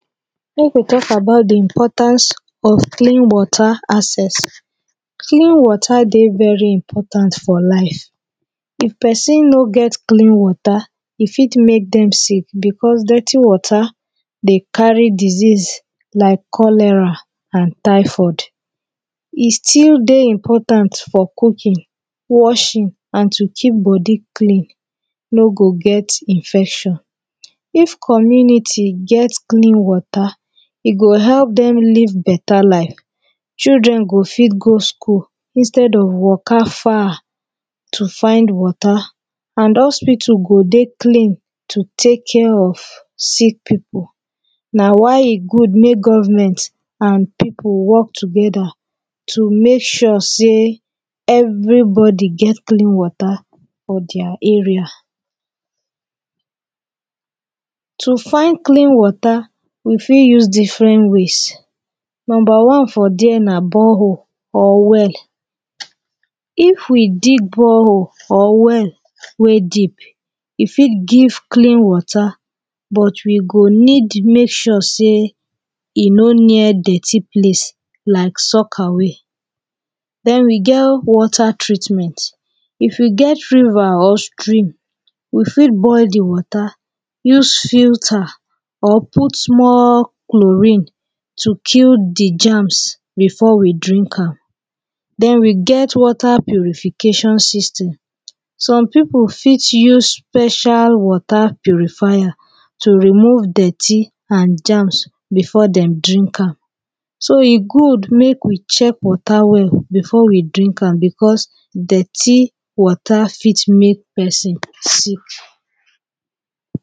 Make we talk about the importance of clean water access. Clean water dey very important for life. If person no get clean water e fit make dem sick because dirty water dey carry disease like cholera and typhoid e still dey important for cooking washing and to keep body clean no go get infection. If community get clean water e go help them leave better life, children go fit go school instead of waka far to find water and hospital go dey clean to take care of sick people na why e good make government and people work together to make sure say everybody gets clean water for their area. To find clean water we fit use different ways. Number one for there na borehole or well if we dig bore well or well wey deep e fit give clean water but we go need make sure sey e no near dirty place like soak away. Then we get water treatment if you get river or stream we fit boil the water use filter or put small chlorine to kill the germs before we drink am then we get water purifications system some people fit use special water purifier to remove dirty and germs before dem drink am. So e good make we check water well before we drink am because dirty water fit make person sick